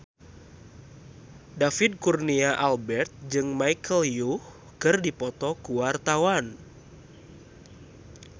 David Kurnia Albert jeung Michelle Yeoh keur dipoto ku wartawan